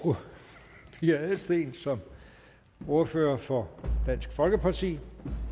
fru pia adelsteen som ordfører for dansk folkeparti